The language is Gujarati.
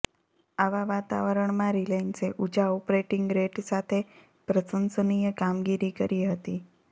આવા વાતાવરણમાં રિલાયન્સે ઊંચા ઓપરેટિંગ રેટ સાથે પ્રસંશનીય કામગીરી કરી હતી